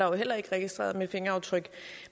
jo heller ikke registreret med fingeraftryk